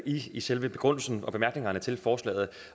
i selve begrundelsen og bemærkningerne til forslaget